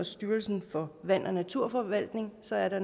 styrelsen for vand og naturforvaltning så er der